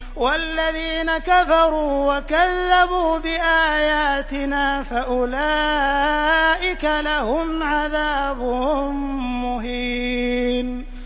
وَالَّذِينَ كَفَرُوا وَكَذَّبُوا بِآيَاتِنَا فَأُولَٰئِكَ لَهُمْ عَذَابٌ مُّهِينٌ